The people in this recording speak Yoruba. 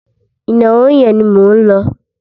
Ìnáwó yẹn ni mò ń lọ.